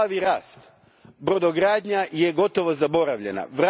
Plavi rast, brodogradnja je gotovo zaboravljena.